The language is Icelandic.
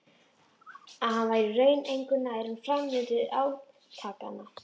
Að hann væri í raun engu nær um framvindu átakanna.